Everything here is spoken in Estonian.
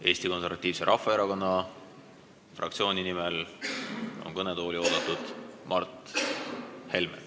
Eesti Konservatiivse Rahvaerakonna fraktsiooni nimel on kõnetooli oodatud Mart Helme.